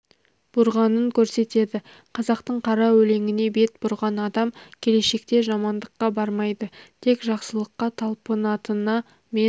бұрғанын көрсетеді қазақтың қара өлеңіне бет бұрған адам келешекте жамандыққа бармайды тек жақсылыққа талпынатына мен